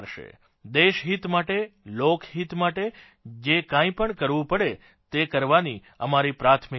દેશહિત માટે લોકહિત માટે જે કાંઇપણ કરવું પડે તે કરવાની અમારી પ્રાથમિકતા છે